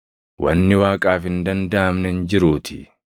Wanni Waaqaaf hin dandaʼamne hin jiruutii.”